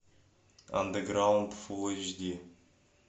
андеграунд фул эйч ди